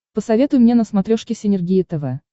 посоветуй мне на смотрешке синергия тв